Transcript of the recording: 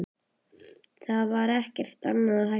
Það var ekkert annað hægt að gera.